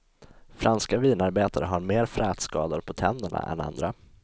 Franska vinarbetare har mer frätskador på tänderna än andra.